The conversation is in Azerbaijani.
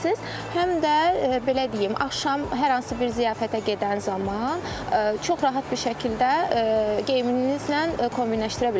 Həm də belə deyim, axşam hər hansı bir ziyafətə gedən zaman çox rahat bir şəkildə geyiminizlə kombinləşədirə bilərsiniz.